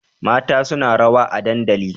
Mata suna rawa a dadandali